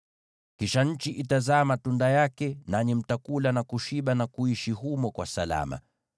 Kisha nchi itazaa matunda yake, nanyi mtakula na kushiba na kuishi humo kwa salama.